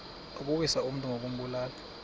ukuwisa umntu ngokumbulala